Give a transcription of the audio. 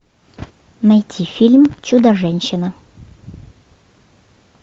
найти фильм чудо женщина